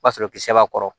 O b'a sɔrɔ kisɛ b'a kɔrɔ